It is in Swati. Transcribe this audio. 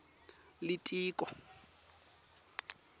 litiko